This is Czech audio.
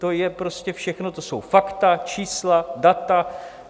To je prostě všechno, to jsou fakta, čísla, data.